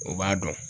O b'a dɔn